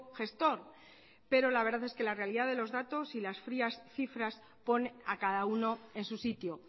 gestor pero la verdad es que la realidad de los datos y las frías cifras pone a cada uno en su sitio